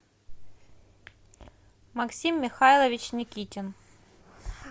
максим михайлович никитин